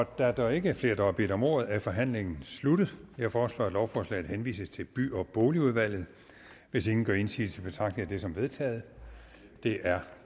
da der ikke er flere der har bedt om ordet er forhandlingen sluttet jeg foreslår at lovforslaget henvises til by og boligudvalget hvis ingen gør indsigelse betragter jeg det som vedtaget det er